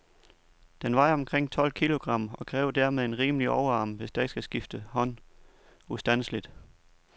Den vejer omkring tolv kilogram, og kræver dermed en rimelig overarm, hvis der ikke skal skifte hånd ustandseligt.